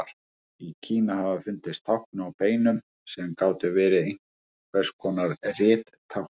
Í Kína hafa fundist tákn á beinum sem gætu verið einhvers konar rittákn.